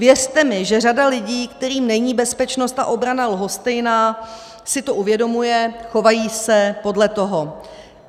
Věřte mi, že řada lidí, kterým není bezpečnost a obrana lhostejná, si to uvědomuje, chovají se podle toho.